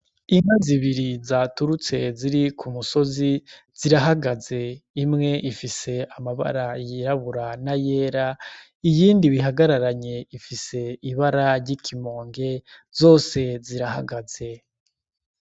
Inka zibiri zaturutse ziri k'umusozi zirahagaze, imwe ifise amabara y'irabura na yera, iyindi bihagararanye ifise ibara ry'ikimonge. Zose zirahagaze.